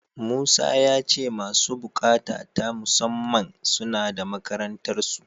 Musa ya ce masu buƙata ta musamman, suna da makarantarsu.